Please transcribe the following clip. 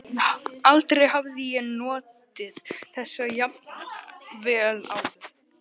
Aldrei hafði ég notið þess jafn vel áður.